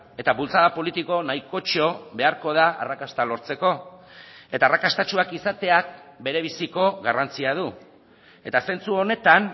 eta bultzada politiko nahikotxo beharko da arrakasta lortzeko eta arrakastatsuak izateak berebiziko garrantzia du eta zentzu honetan